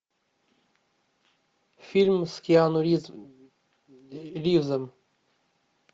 фильм с киану ривзом